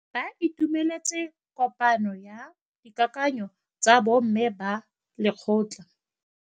Ba itumeletse kôpanyo ya dikakanyô tsa bo mme ba lekgotla.